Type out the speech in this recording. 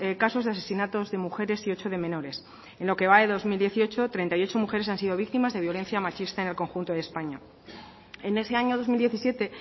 casos de asesinatos de mujeres y ocho de menores en lo que va de dos mil dieciocho treinta y ocho mujeres han sido víctimas de violencia machista en el conjunto de españa en ese año dos mil diecisiete